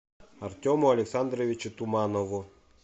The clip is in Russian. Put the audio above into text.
артему александровичу туманову